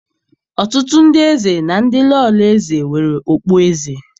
Ọtụtụ ndị eze na ndị Lọlọ eze nwere okpueze.